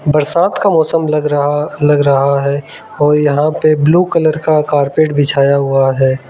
बरसात का मौसम लग रहा लग रहा है और यहां पे ब्लू कलर का कारपेट बिछाया हुआ है।